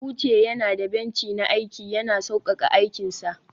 uche yana da benci na aiki, yana sauƙaƙa aikinsa